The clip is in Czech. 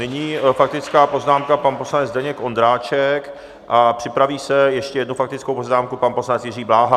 Nyní faktická poznámka, pan poslanec Zdeněk Ondráček, a připraví se - ještě jednu faktickou poznámku, pan poslanec Jiří Bláha.